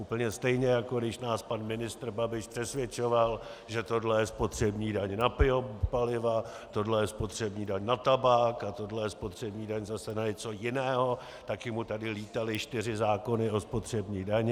Úplně stejně, jako když nás pan ministr Babiš přesvědčoval, že tohle je spotřební daň na biopaliva, tohle je spotřební daň na tabák a tohle je spotřební daň zase na něco jiného, taky mu tady lítaly čtyři zákony o spotřební dani.